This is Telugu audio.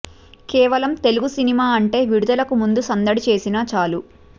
కేవలం తెలుగు సినిమా అంటే విడుదలకి ముందు సందడి చేసినా చాలు